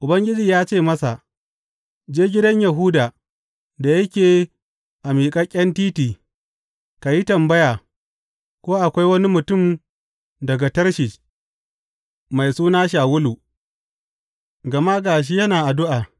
Ubangiji ya ce masa, Je gidan Yahuda da yake a Miƙaƙƙen Titi ka yi tambaya ko akwai wani mutum daga Tarshish mai suna Shawulu, gama ga shi yana addu’a.